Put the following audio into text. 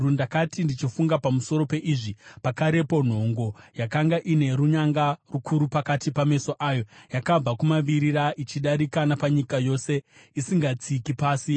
Ndakati ndichifunga pamusoro peizvi, pakarepo nhongo yakanga ine runyanga rukuru pakati pameso ayo yakabva kumavirira, ichidarika napanyika yose isingatsiki pasi.